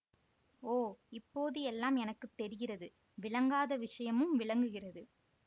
ஓ இப்போது எல்லாம் எனக்கு தெரிகிறது விளங்காத விஷயமும் விளங்குகிறது